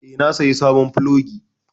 Eh, na saya sabon plogi.